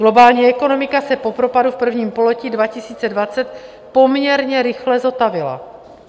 Globální ekonomika se po propadu v prvním pololetí 2020 poměrně rychle zotavila.